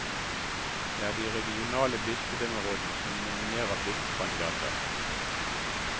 Det er de regionale bispedømmerådene som nominerer bispekandidater.